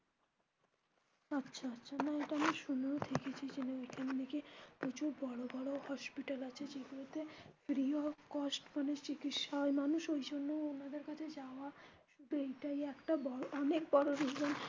আচ্ছা আচ্ছা এটা আমি শুনেওছি ঐখানে নাকি কিছু বড়ো বড়ো hospital আছে যেগুলো তে free of cost মানে চিকিৎসা হয় মানুষ ঐজন্য ওনাদের কাছে যাওয়া এইটাই একটা বড়ো অনেক বড়ো reason.